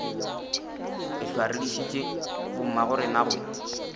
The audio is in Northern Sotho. ehlwa re dišitše bommagorena go